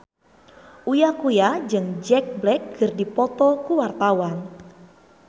Uya Kuya jeung Jack Black keur dipoto ku wartawan